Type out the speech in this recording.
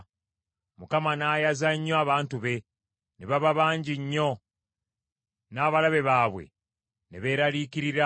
Mukama n’ayaza nnyo abantu be; ne baba bangi nnyo, n’abalabe baabwe ne beeraliikirira,